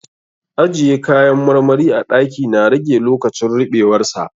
Ajiye kayan marmari a ɗaki na rage lokacin ruɓewar sa.